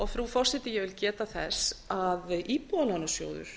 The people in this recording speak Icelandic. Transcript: frú forseti ég vil geta þess að íbúðalánasjóður